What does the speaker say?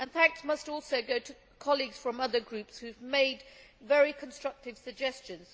Thanks must also go to colleagues from other groups who have made very constructive suggestions.